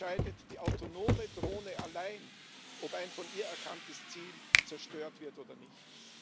Jetzt entscheidet die autonome Drohne allein, ob ein von ihr erkanntes Ziel zerstört wird oder nicht.